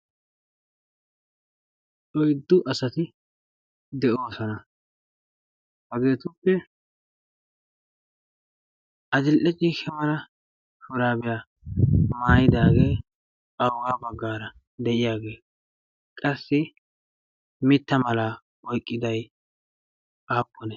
oiddu asati de'oosona hageetuppe azildacci shamala shuraabiyaa maayidaagee awu baggaara de'iyaagee qassi mitta malaa oyqqiday aappone